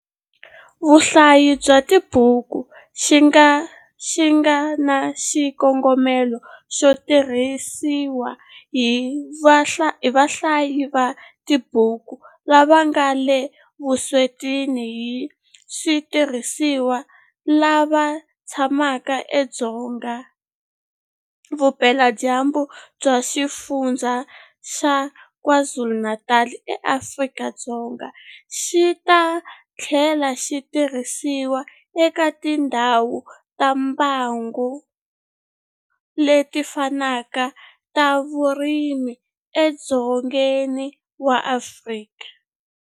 Vahlayi bya tibuku xi nga na xikongomelo xo tirhisiwa hi vahlayi va tibyuku lava nga le vuswetini hi switirhisiwa lava tshamaka edzonga vupeladyambu bya Xifundzha xa KwaZulu-Natal eAfrika-Dzonga, xi ta tlhela xi tirhisiwa eka tindhawu ta mbango leti fanaka ta vurimi edzongeni wa Afrika.